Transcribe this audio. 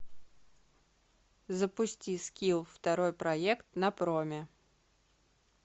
запусти скилл второй проект на проме